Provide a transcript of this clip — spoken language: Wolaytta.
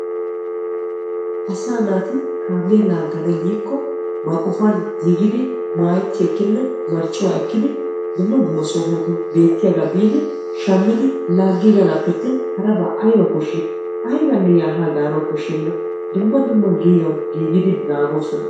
Asaa naati kamiya laggana giikko ba qofan giigidi maayetti ekkidi marccuwa oyikkidi dumma dumma sohotu beettiyaagabiidi shammidi laagiganappe attin haraba ayibee koshiyay. ayibanne yaa haa gaana koshenna dumma dumma giigan giigidi naagoosona.